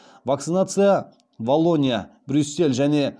вакцинация валлония брюссель және